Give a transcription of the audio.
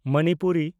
Manipuri